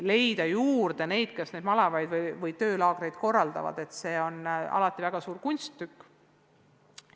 Leida juurde neid, kes malevaid või töölaagreid korraldaksid, on alati väga suur kunsttükk.